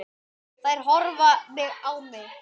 Þær horfa á mig.